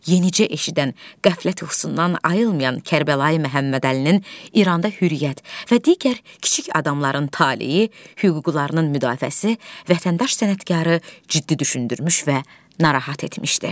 Yenicə eşidən qəflət yuxusundan ayrılmayan Kərbəlayi Məhəmmədəlinin İranda Hürriyyət və digər kiçik adamların taleyi, hüquqlarının müdafiəsi vətəndaş sənətkarı ciddi düşündürmüş və narahat etmişdi.